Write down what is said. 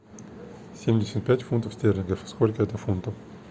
семьдесят пять фунтов стерлингов сколько это фунтов